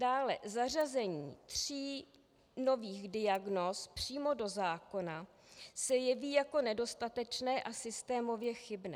Dále zařazení tří nových diagnóz přímo do zákona se jeví jako nedostatečné a systémově chybné.